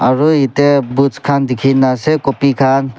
aru ete books khan dikhi na ase copy khan.